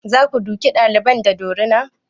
Za ka duke ɗalibin da dorina?